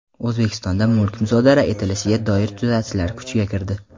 O‘zbekistonda mulk musodara etilishiga doir tuzatishlar kuchga kirdi.